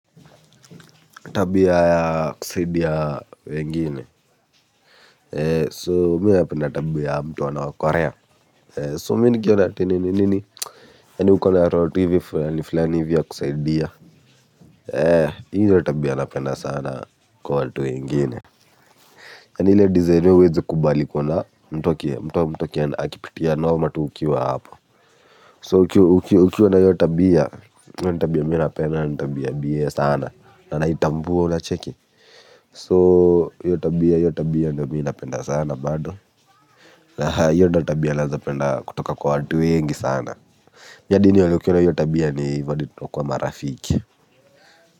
Tabia ya kusaidia wengine So mimi napenda tabia ya mtu anaokolea. So mimi nikiona ati nini nini yaani uko na roho tu hivi fulani fulani hivi ya kusaidia. Hio ndio tabia napenda sana kwa watu wengine. Yaani ile design wewe huwezi kubali kuona mtu, mtu akipitia noma ukiwa hapo. So ukiwa na hio tabia, hio ni tabia mimi napenda, na ni tabia biye sana. Na naitambua unacheki. So hio tabia hio tabia ndio mimi napenda sana bado. Hio ndio tabia naeza penda kutoka kwa watu wengi sana. Mimi hadi nione ukiwa na hio tabia ni hivyo hadi tutakuwa marafiki.